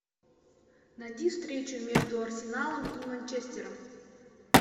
найди встречу между арсеналом и манчестером